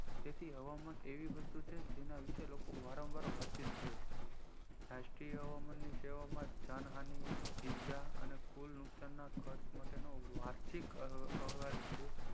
જેથી હવામાન એવી વસ્તુ છે જેના વિષે લોકો વારંવાર વાતચીત કરે છે રાષ્ટ્રીય હવામાન ની સેવા માં જાણ હાનિ ઇજા કુલ નુકશાન ના ખર્ચ માટેનો વાર્ષિક અહેવાલ છે